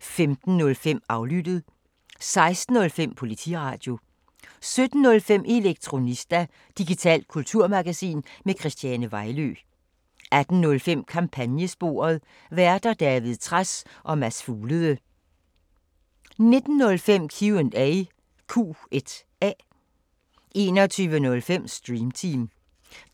15:05: Aflyttet 16:05: Politiradio 17:05: Elektronista – digitalt kulturmagasin med Christiane Vejlø 18:05: Kampagnesporet: Værter: David Trads og Mads Fuglede 19:05: Q&A 21:05: Stream Team